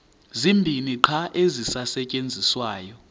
zibini qha ezisasetyenziswayo